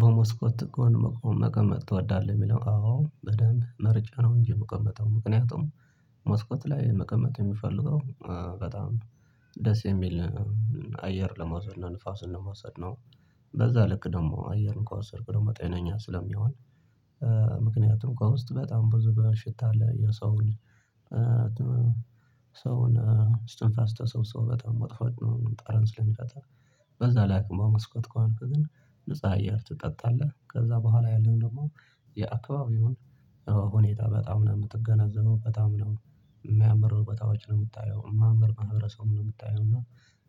በመስኮት ጎን መቅመጥ ትወዳለህ? የሚለው አዎ በደንብ መርጬ ነው እንጂ የምቀመጠው ምክንያቱም መስኮት ላይ መቀመጥ የምፈልገው በጣም ደስ የሚል አየር ለመውሰድ ነው ንፋስን ለመውሰድ ነው። በዛ ልክ ደግሞ አየሩን ከወሰድኩ ደግሞ ጤነኛ ስለሚሆን ምክንያቱም ከውስጥ በጣም ብዙ በሽታ አለ። የሰውን እስትንፋስ ተሰብስቦ በጣም መጥፎ ጠረን ስለሚፈጥር። በዛ ላይ በመስኮት ከሆንክ ግን ንጹህ አየር ትጠጣለህ። ከዛ በኋላ ያለው ደግሞ የአካባቢውን ሁኔታ በጣም ነው የምትገነዘበው። በጣም ነው የሚያምር ቦታዎች ነው የምታየው። የሚያምር ነው ማህበረሰብን ነው የምታየው። እና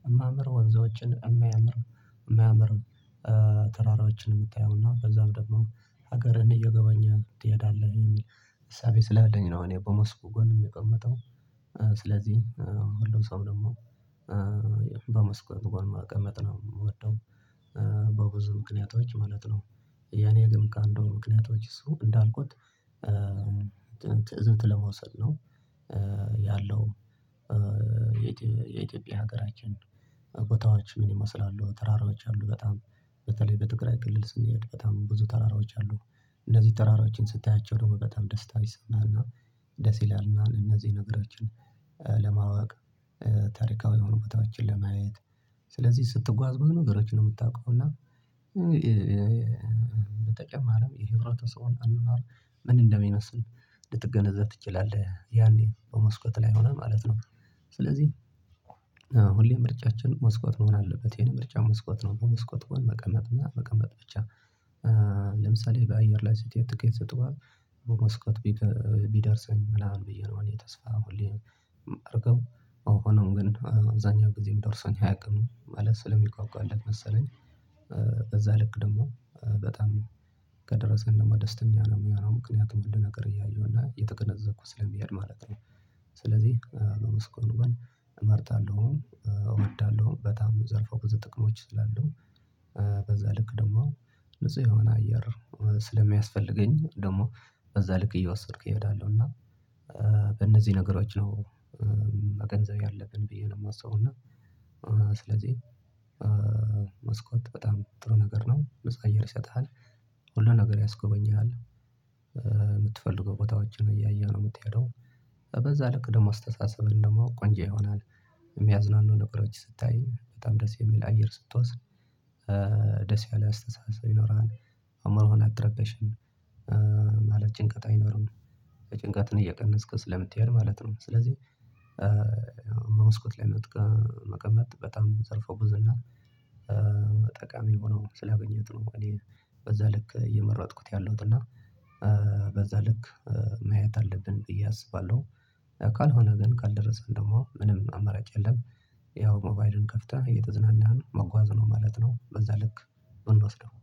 የሚምር ወንዞችን የማያምር ተራራዎችን የምታየው። እና በዛም ደግሞ ሀገርን እየጎበኘህ ትሄዳለህ የሚል እሳቤ ስላለኝ ነው እኔ በመስኮት ጎን የምቀመጠው። ስለዚህ ሁሉም ሰው ደግሞ በመስኮት ጎን መቀመጥ ነው የሚወደው በብዙ ምክንያቶች ማለት ነው። የኔ ግን ካንዱ ምክንያቶች እሱ እንዳልኩት ትዝብት ለመውሰድ ነው ያለው የኢትዮጵያ ሀገራችን ቦታዎች ምን ይመስላሉ? ተራራዎች አሉ በጣም በተለይ በትግራይ ክልል ስንሄድ በጣም ብዙ ተራራዎች አሉ በጣም። እንዚህ ተራራዎችን ስታያቸው ደግሞ በጣም ደስታ ይሰማሀል። እና ደስ ይልሀል እና እነዚህ ነገሮችን ለማወቅ ታሪካዊ የሆኑ ቦታዎችን ለማየት ስለዚህ ስትጓዝ ብዙ ነገሮችን ነው የምታውቀው እና በተጨማሪም ይሄ ህብረተሰቡን አኗኗር ምን እንደሚመስል ልትገነዘብ ትችላለህ ያኔ በመስኮት ላይ ሆነህ ማለት ነው። ስለዚህ ሁሌ ምርጫችን መስኮት መሆን አለበት። የኔ ምርጫ መስኮት ነው በመስኮት ጎን መቀመጥና መቀመጥ ብቻ። ለምሳሌ በአየር ላይ ስትሄድ ትኬት ይሰጡሀል መስኮት ቢደርሰኝ ምናምን ብዬ ነው እኔ ተስፋ ሁሌ የማደርገው። አሁንም ግን አብዛኛው ጊዜ ደርሰን አያውቅም። ማለት ስለምጓጓለት መሰለኝ። በዛ ልክ ደግሞ በጣም ከደረሰ ከደረሰኝ ደግሞ ደስተኛ ነው የምሆነው ምክንያቱም ሁሉ ነገር እያየሁ እና እየተገነዘብኩ ስለምሄድ ማለት ነው። ስለዚህ በመስኮቱ ጎን እመርጣለሁም እወዳለሁም። በጣም ዘርፈ ብዙ ጥቅሞች ስላለው በዛ ልክ ደግሞ ንጹህ የሆነ አየር ስለሚያስፈልገኝ ደግሞ በዛ ልክ እየወሰድኩ እሄዳለሁ እና በእነዚህ ነገሮች ነው መገንዘብ ያለብን ብዬ ነው የማስበው። እና ስለዚህ መስኮት በጣም ጥሩ ነገር ነው። አየር ይሰጥሀል ሁሉን ነገር ያስጎበኛሃል። የምትፈልገው ቦታዎችን እያየህ ነው የምትሄደው። በዛ ልክ ደግሞ አስተሳሰብን ደግሞ ቆንጆ ይሆናል። የሚያዝናኑ ነገሮች ስታይ በጣም ደስ የሚል አየር ስትወስድ ደስ ያለ አስተሳሰብ ይኖራል። አይምሮህን አትረበሽም። ማለት ጭንቀት አይኖርም። ጭንቀትን እየቀነስክ ስለምትሄድ ማለት ነው። ስለዚህ በመስኮት ላይ መቀመጥ በጣም ዘርፈ ብዙና ጠቃሚ ሆኖ ስላገኘሁት ነው። እኔ በዛልክ እየመረጥኩት ያለሁት እና በዛ ልክ ማየት አለብን ብዬ አስባለሁ። ካልሆነ ግን ካልደረስን ደግሞ ምንም አመራጭ የለም። ያው ሞባይልህን ከፍተህ እየተዝናናህ መጓዝ ነው ማለት ነው። በዛ ልክ ብንወስደው